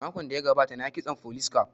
Makon da ya gabata na yi kitson folis caf